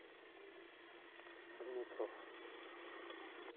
дмитров